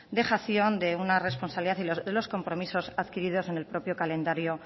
dejación de una responsabilidad y de los compromisos adquiridos en el propio calendario